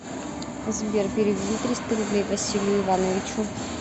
сбер переведи триста рублей василию ивановичу